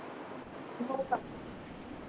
हो का